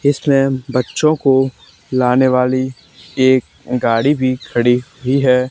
इसमे बच्चो को लाने वाली एक गाड़ी भी खड़ी हुई है।